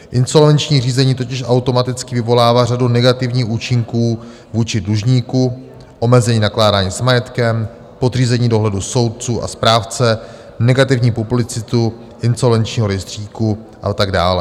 Insolvenční řízení totiž automaticky vyvolává řadu negativních účinků vůči dlužníku, omezení nakládání s majetkem podřízení dohledu soudců a správce, negativní publicitu insolvenčního rejstříku a tak dále.